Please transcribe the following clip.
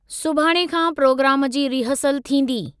सुभाणे खां प्रोग्राम जी रिहर्सल थींदी।